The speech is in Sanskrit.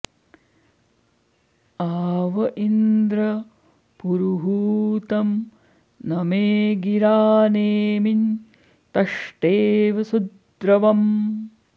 आ व॒ इन्द्रं॑ पुरुहू॒तं न॑मे गि॒रा ने॒मिं तष्टे॑व सु॒द्र्व॑म्